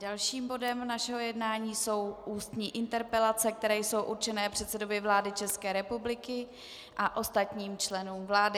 Dalším bodem našeho jednání jsou ústní interpelace, které jsou určeny předsedovi vlády České republiky a ostatním členům vlády.